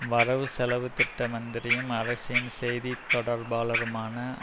வரவு செலவு திட்ட மந்திரியும் அரசின் செய்தி தொடர்பாளருமான